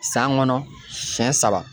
San kɔnɔ siɲɛ saba.